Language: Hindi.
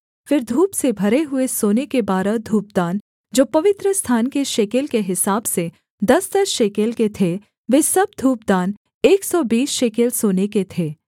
फिर धूप से भरे हुए सोने के बारह धूपदान जो पवित्रस्थान के शेकेल के हिसाब से दसदस शेकेल के थे वे सब धूपदान एक सौ बीस शेकेल सोने के थे